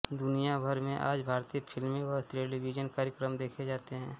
दुनियाभर में आज भारतीय फिल्में व टेलीविजन कार्यक्रम देखे जाते हैं